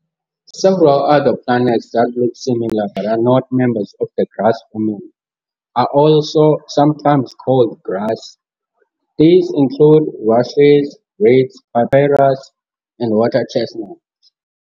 Several other plants that look similar but are not members of the grass family are also sometimes called grass, these include rushes, reeds, papyrus, and water chestnut.